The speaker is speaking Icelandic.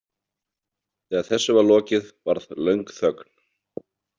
Þegar þessu var lokið varð löng þögn.